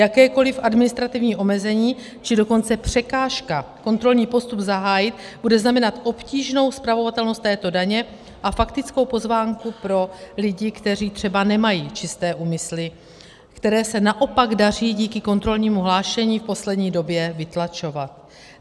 Jakékoliv administrativní omezení, či dokonce překážka kontrolní postup zahájit bude znamenat obtížnou spravovatelnost této daně a faktickou pozvánku pro lidi, kteří třeba nemají čisté úmysly, které se naopak daří díky kontrolnímu hlášení v poslední době vytlačovat.